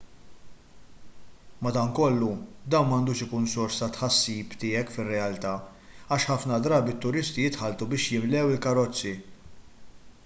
madankollu dan m'għandux ikun sors ta' tħassib tiegħek fir-realtà għax ħafna drabi t-turisti jitħalltu biex jimlew il-karozzi